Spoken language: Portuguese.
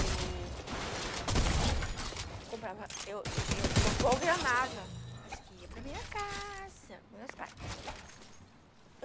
Eu comprava, eu eu eu programava, acho que ia para a minha casa, dos meus pais.